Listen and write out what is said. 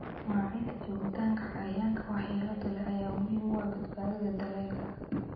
Maareynta joogitaanka cayayaanka waxyeelada leh ayaa muhiim u ah badbaadada dalagga.